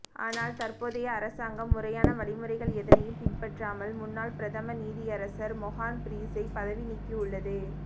ஆனால் தற்போதைய அரசாங்கம் முறையான வழிமுறைகள் எதனையும் பின்பற்றாமல் முன்னாள் பிரதம நீதியரசர் மொஹான் பீரிஸை பதவி நீக்கியுள்ளது